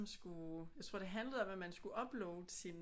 Skulle jeg tror det handlede om at man skulle uploade sin